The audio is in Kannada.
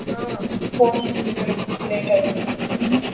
ಹಾ phone ಇಡ್ತಿನಿ ಕಣೆ late ಆಯ್ತು ಹ್ಮ್.